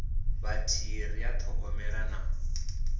vhathihi ri a ṱhogomela na